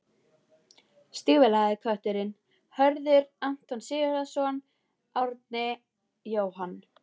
Stígvélaði kötturinn: Hörður, Anton Sigurðsson, Árni, Jóhann